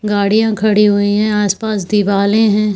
गाड़िया खड़ी हुई है आस-पास दिवाले है।